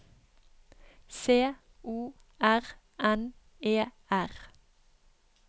C O R N E R